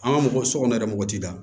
An ka mɔgɔ sokɔnɔ yɛrɛ mɔgɔ tɛ da